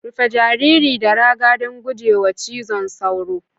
Rufe jariri da raga don guje wa cizon sauro